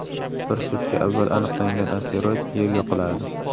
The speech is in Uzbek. Bir sutka avval aniqlangan asteroid Yerga quladi.